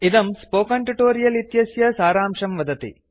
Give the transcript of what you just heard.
इदं spoken tutorial इत्यस्य सारांशं वदति